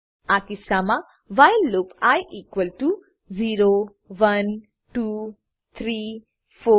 આ કિસ્સામાં while loop i equal to 0 1 2 3 4